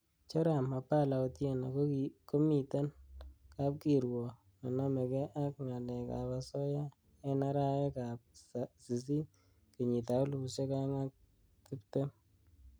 Joram opala otieno komiten kapkirwok nenomege ak ng'alekab asoya en arawekab sisit kenyitab elfusiek o'eng ak tibtem.